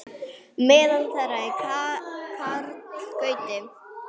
Meðal þeirra er Karl Gauti.